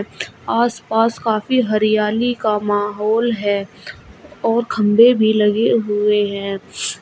आसपास काफी हरियाली का माहौल है और खंबे भी लगे हुए हैं।